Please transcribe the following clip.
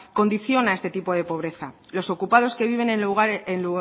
condiciona este tipo de pobreza los ocupados que viven en lugares